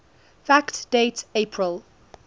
fact date april